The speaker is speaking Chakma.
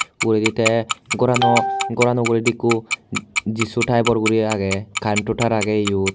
Uguredi tay ghorano uguredi Jisu typor guri agay currento taar agay yot.